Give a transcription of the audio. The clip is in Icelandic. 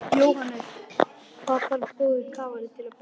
Jóhannes: Hvað þarf góður kafari til að bera?